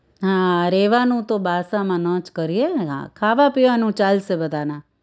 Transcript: હા રેવાનું તો બાસામાં ન જ કરીએને ખાવા પીવાનું ચાલશે બધાને